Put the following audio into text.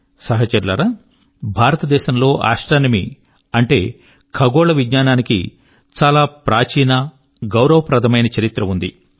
సహచరులారా భారతంలో ఆస్ట్రోనమీ అంటే ఖగోళ విజ్ఞానానికి చాలా ప్రాచీన గౌరవ ప్రదమైన చరిత్ర ఉంది